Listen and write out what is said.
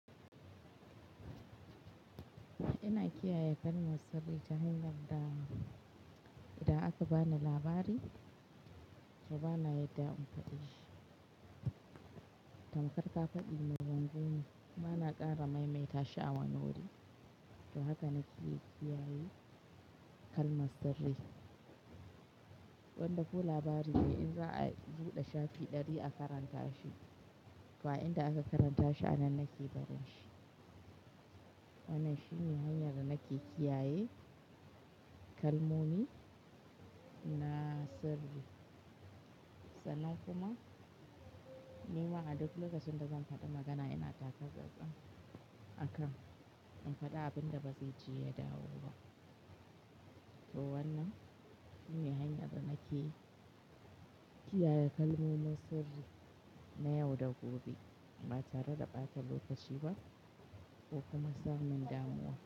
Ina kiyaye kalmar sirri ta hanyar da idan aka bani labari to bana yadda in faɗe shi. Tamkar ka faɗi min wani gini, bana ƙara maimaita shi awani wuri. To haka nake kiyaye kalmar sirri. Wanda ko labari ne in za a buɗe shafi ɗari a karanta shi, to inda aka karanta shi a nan nake barin shi. Wannan shine hanyar da nake kiyaye kalmomi na sirri. Sannan kuma ni ma a duk lokacin da zan faɗi magana ina taka tsan tsan akan in faɗi abin da bazai ji ya dawo ba. To wannan shine hanyar da nake kiyaye kalmomin sirri na yau da gobe ba tare da ɓata lokaci ba ko kuma samun damuwa.